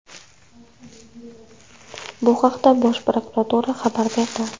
Bu haqda Bosh prokuratura xabar berdi.